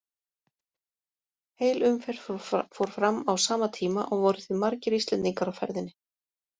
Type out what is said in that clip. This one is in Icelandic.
Heil umferð fór fram á sama tíma og voru því margir Íslendingar á ferðinni.